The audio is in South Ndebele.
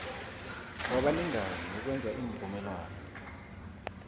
wabalingani wokwenza iimvumelwano